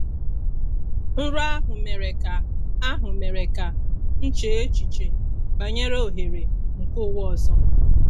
Nrọ ahụ mere ka ahụ mere ka m chee echiche banyere ohere nke ụwa ọzọ.